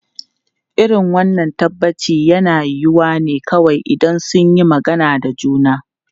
Irin wannan tabbaci yana yiwuwa ne kawai idan sun yi magana da juna.